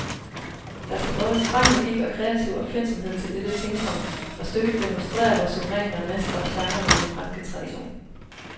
Der skal både streng logik og kreativ opfindsomhed til dette pingpong, og stykket demonstrerer, hvor suverænt man mestrer genren i den franske tradition.